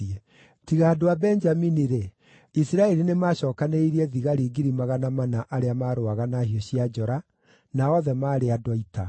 Tiga andũ a Benjamini-rĩ, Isiraeli nĩmacookanĩrĩirie thigari 400 arĩa marũaga na hiũ cia njora, na othe maarĩ andũ a ita.